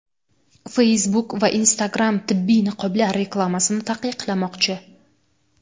Facebook va Instagram tibbiy niqoblar reklamasini taqiqlamoqchi .